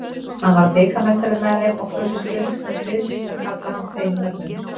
Hann varð bikarmeistari með þeim og kusu stuðningsmenn liðsins að kalla hann tveim nöfnum.